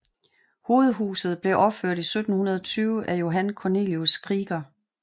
Hovedhuset blev opført i 1720 af Johan Cornelius Krieger